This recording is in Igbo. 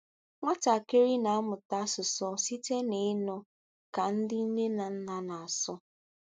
Nwatakịrị na-amụta asụsụ site n'ịnụ ka ndị nne na nna na-asụ.